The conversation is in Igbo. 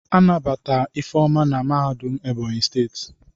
Anabata Ifeoma na mahadum Ebonyi steeti.